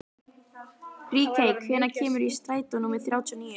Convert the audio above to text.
Ríkey, hvenær kemur strætó númer þrjátíu og níu?